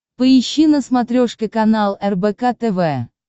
поищи на смотрешке канал рбк тв